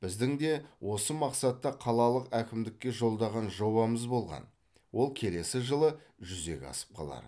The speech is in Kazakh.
біздің де осы мақсатта қалалық әкімдікке жолдаған жобамыз болған ол келесі жылы жүзеге асып қалар